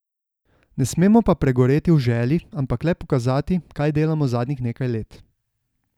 Ne smemo pa pregoreti v želji, ampak le pokazati, kaj delamo zadnjih nekaj let.